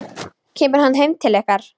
Kemur hann heim til ykkar?